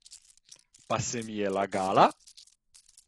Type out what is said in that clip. Pa se mi je lagala!